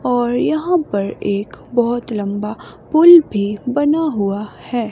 और यहां पर एक बहुत लंबा पुल भी बना हुआ है।